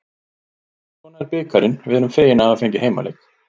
Svona er bikarinn, við erum fegin að hafa fengið heimaleik.